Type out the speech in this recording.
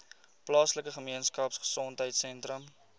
plaaslike gemeenskapgesondheid sentrum